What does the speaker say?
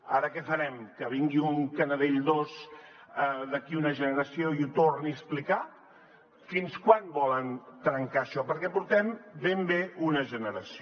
ara què farem que vingui un canadell dos d’aquí una generació i ho torni a explicar fins quan volen trencar això perquè portem ben bé una generació